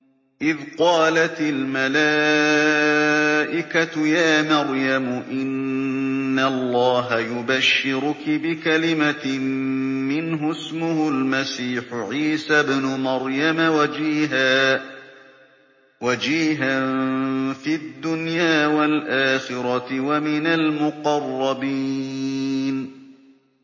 إِذْ قَالَتِ الْمَلَائِكَةُ يَا مَرْيَمُ إِنَّ اللَّهَ يُبَشِّرُكِ بِكَلِمَةٍ مِّنْهُ اسْمُهُ الْمَسِيحُ عِيسَى ابْنُ مَرْيَمَ وَجِيهًا فِي الدُّنْيَا وَالْآخِرَةِ وَمِنَ الْمُقَرَّبِينَ